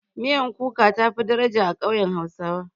Miyan kuka tafi daraja a ƙauyen hausawa.